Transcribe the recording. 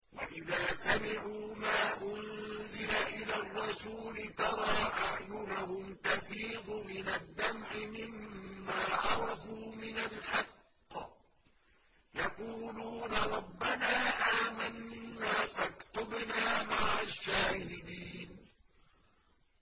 وَإِذَا سَمِعُوا مَا أُنزِلَ إِلَى الرَّسُولِ تَرَىٰ أَعْيُنَهُمْ تَفِيضُ مِنَ الدَّمْعِ مِمَّا عَرَفُوا مِنَ الْحَقِّ ۖ يَقُولُونَ رَبَّنَا آمَنَّا فَاكْتُبْنَا مَعَ الشَّاهِدِينَ